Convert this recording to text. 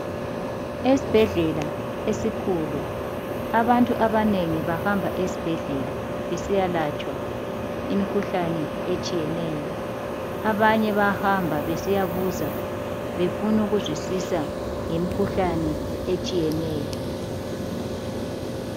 Esibhedlela esikhulu. Abantu abanengi bahamba esibhedlela besiyalatshwa imikhuhlane etshiyeneyo. Abanye bayahamba besiyabuza befunukuzwisisa ngemkhuhlane etshiyeneyo.